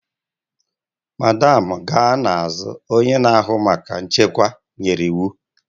Madam na-aga n'azụ! Onye na-ahụ maka nchekwa nyere iwu.